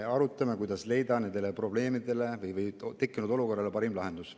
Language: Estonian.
Me arutame, kuidas leida nendele probleemidele ja tekkinud olukorrale parim lahendus.